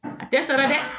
A tɛ sara dɛ